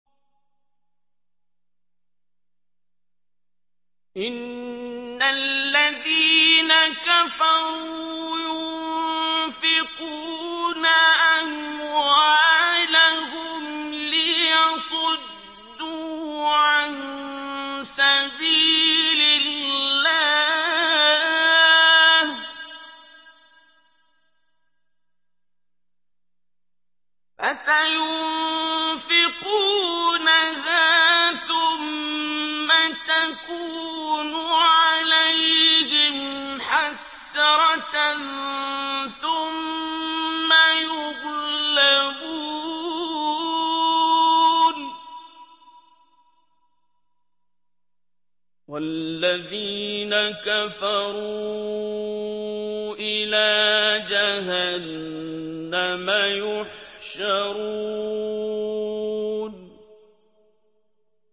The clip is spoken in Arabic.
إِنَّ الَّذِينَ كَفَرُوا يُنفِقُونَ أَمْوَالَهُمْ لِيَصُدُّوا عَن سَبِيلِ اللَّهِ ۚ فَسَيُنفِقُونَهَا ثُمَّ تَكُونُ عَلَيْهِمْ حَسْرَةً ثُمَّ يُغْلَبُونَ ۗ وَالَّذِينَ كَفَرُوا إِلَىٰ جَهَنَّمَ يُحْشَرُونَ